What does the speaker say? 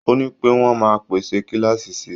Ó ní pé wọ́n máa pèsè kíláàsì si.